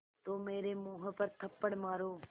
तो मेरे मुँह पर थप्पड़ मारो